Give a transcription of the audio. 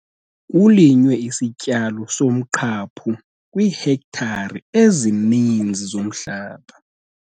Kulinywe isityalo somqhaphu kwiihektare ezininzi zomhlaba.